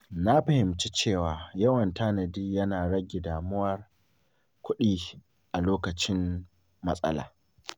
Na fahimci cewa yawan tanadi yana rage damuwar kuɗi a lokacin matsala.